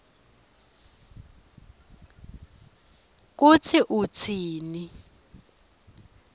kutsi utsini